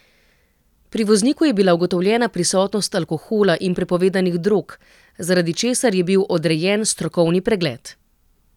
Pri vozniku je bila ugotovljena prisotnost alkohola in prepovedanih drog, zaradi česar je bil odrejen strokovni pregled.